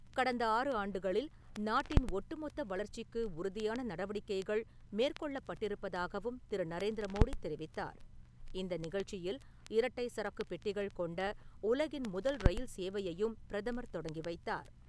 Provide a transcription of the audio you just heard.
கடந்த ஆறு ஆண்டுகளில் நாட்டின் ஒட்டுமொத்த வளர்ச்சிக்கு உறுதியான நடவடிக்கைகள் மேற்கொள்ளப்பட்டிருப்பதாகவும் திரு. நரேந்திர மோடி தெரிவித்தார். இந்த நிகழ்ச்சியில், இரட்டை சரக்கு பெட்டிகள் கொண்ட உலகின் முதல் ரயில் சேவையையும் பிரதமர் தொடங்கி வைத்தார்.